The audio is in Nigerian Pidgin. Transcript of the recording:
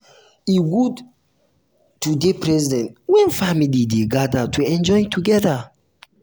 e good to um to um dey present when family dey gather to um enjoy together.